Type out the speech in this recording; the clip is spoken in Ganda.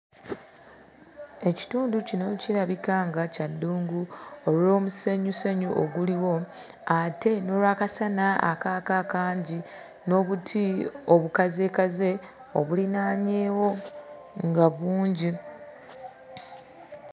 Ekitundu kino kirabika nga kya ddungu olw'omusenyusenyu oguliwo ate n'olw'akasana akaaka akangi n'obuti obukazeekaze obulinaanyeewo nga bungi.